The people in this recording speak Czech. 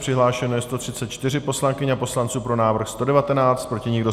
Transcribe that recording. Přihlášeno je 134 poslankyň a poslanců, pro návrh 119, proti nikdo.